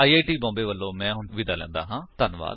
I I T Bombay ਵਲੋਂ ਮੈਂ ਹੁਣ ਤੁਹਾਡੇ ਤੋਂ ਵਿਦਾ ਲੈਂਦਾ ਹਾਂ